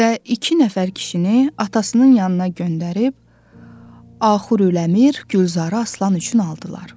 Və iki nəfər kişini atasının yanına göndərib Axur Öləmir Gülzarı Aslan üçün aldılar.